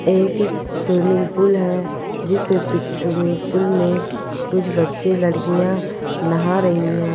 एक swimming pool है जिसमे स्विमिंग पुल में कुछ बच्चे लड़किया नहा रही है।